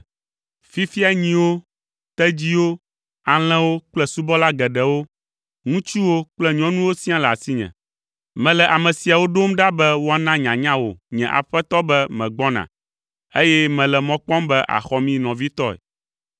Fifia nyiwo, tedziwo, alẽwo kple subɔla geɖewo, ŋutsuwo kple nyɔnuwo siaa le asinye. Mele ame siawo ɖom ɖa be woana nyanya wò nye aƒetɔ be megbɔna, eye mele mɔ kpɔm be àxɔ mí nɔvitɔe.’ ”